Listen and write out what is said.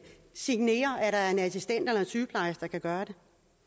signerer at der er en assistent eller sygeplejerske der kan gøre det